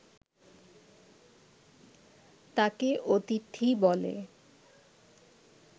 তাঁকে অতিথি বলে